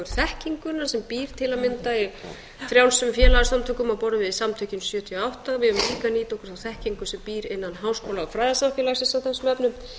þekkinguna sem býr til að mynda í frjálsum félagasamtökum á borð við samtökin sjötíu og átta við eigum líka að nýta okkur þá þekkingu sem býr innan háskóla og fræðasamfélagsins í þessum efnum